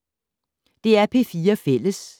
DR P4 Fælles